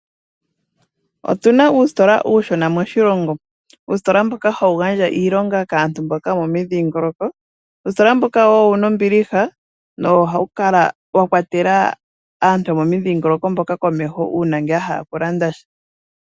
Otuna uusitola uushona moshilongo. Uusitola mboka hawu gandja iilonga kaantu mboka yo momidhiingoloko, uusitola mboka woo owuna ombiliha wo owo hawu kala wakwatela aantu yo momudhiingoloko mboka komeho uuna ya hala oku landa sha.